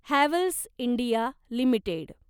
Havells India limited